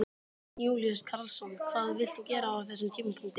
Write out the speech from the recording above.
Jón Júlíus Karlsson: Hvað vilt þú gera á þessum tímapunkti?